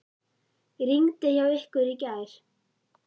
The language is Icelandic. Rigndi hjá ykkur í gær?